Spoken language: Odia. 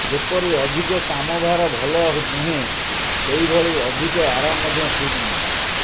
ଯେପରି ଅଧିକ କାମଭାର ଭଲ ନୁହେଁ ସେହିଭଳି ଅଧିକ ଆରାମ ମଧ୍ୟ ଠିକ ନୁହେଁ